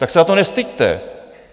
Tak se za to nestyďte.